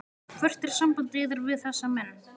Hvert er samband yðar við þessa menn?